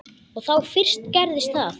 Og þá fyrst gerðist það.